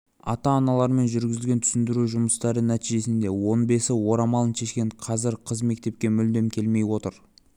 ата-аналарымен жүргізілген түсіндіру жұмыстары нәтижесінде он бесі орамалын шешкен қазір қыз мектепке мүлдем келмей отыр